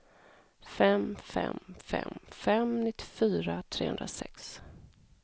fem fem fem fem nittiofyra trehundrasex